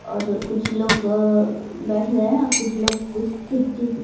और जो कुछ लोग अअ बैठ गए हैं कुछ लोग कुछ किसी चीज --